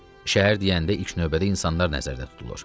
Şəhər deyəndə ilk növbədə insanlar nəzərdə tutulur.